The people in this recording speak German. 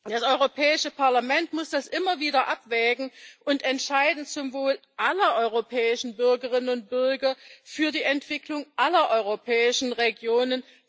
Das Europäische Parlament muss das immer wieder abwägen und entscheiden, zum Wohle aller europäischen Bürgerinnen und Bürger, für die Entwicklung aller europäischen Regionen.